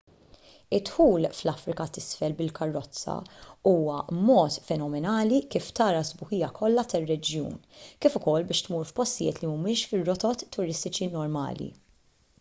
id-dħul fl-afrika t'isfel bil-karozza huwa mod fenomenali kif tara s-sbuħija kollha tar-reġjun kif ukoll biex tmur f'postijiet li mhumiex fir-rotot turistiċi normali